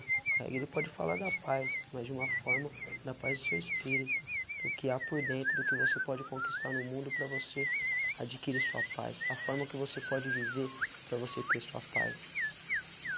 Reggae ele pode falar da paz, mas de uma forma da paz do seu espírito, do que há por dentro, do que você pode conquistar no mundo para você adquirir sua paz, a forma que você pode viver para você ter a sua paz.